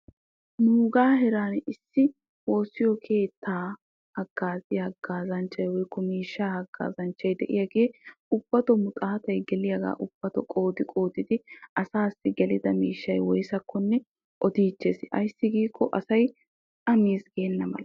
nuugaa heeran issi woossiyo keettaa hagaazziya hagaazzanchchay des. de'iyaagee ubbatoo maxoottay geliyaagaa qoodi qoodidi asaassi gelidda miishshay woysakkonne odiichchees. ayssi giikko asay a miichchees geenna mala.